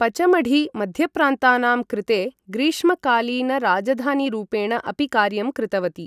पचमढी मध्यप्रान्तानां कृते ग्रीष्मकालीनराजधानीरूपेण अपि कार्यं कृतवती ।